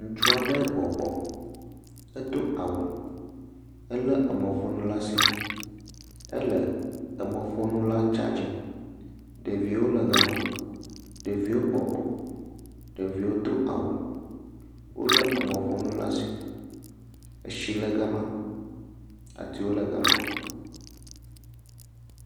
Ŋutsaɖe bɔbɔ edo awu ele emɔƒonu le asi ele emɔƒonu la tsadzin, ɖevio le gama, ɖevio bɔbɔ, ɖevio do awu, wole emɔƒonu le asi, eshi le gama atiwo le gama.